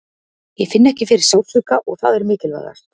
Ég finn ekki fyrir sársauka og það er mikilvægast.